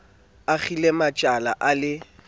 a kgaqile majwala a le